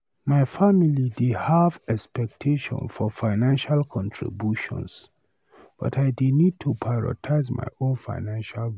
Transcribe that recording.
My family dey have expectations for financial contributions, but I dey need to prioritize my own financial goals.